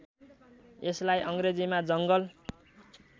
यसलाई अङ्ग्रेजीमा जङ्गल